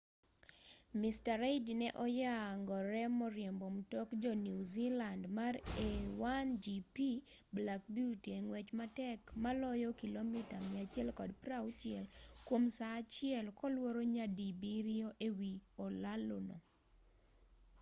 mr reid ne onyagore moriembo mtok jo new zealand mar a1gp black beauty e ng'wech matek maloyo kilomita 160 kwom saa achiel kolworo nyadibiriyo e wi olalo no